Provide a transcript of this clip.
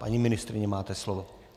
Paní ministryně, máte slovo.